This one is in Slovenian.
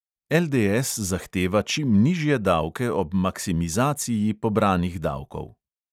LDS zahteva čim nižje davke ob maksimizaciji pobranih davkov.